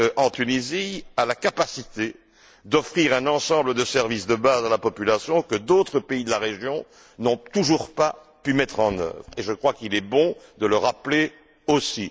en Tunisie, a la capacité d'offrir un ensemble de services de base à la population, que d'autres pays de la région n'ont toujours pas pu mettre en œuvre, et je crois qu'il est bon de le rappeler aussi.